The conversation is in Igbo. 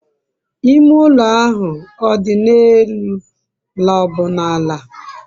ime ulo ahu o di n'elu la o bu n'ala?